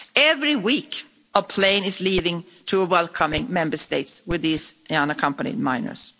Every week a plane is leaving to a welcoming Member State with these unaccompanied minors.